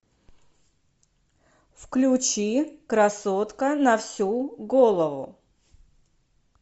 включи красотка на всю голову